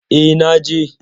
Eh, na je.